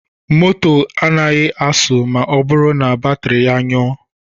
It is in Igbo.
Moto agaghị asụ ma ọ bụrụ na batiri ya nyụọ.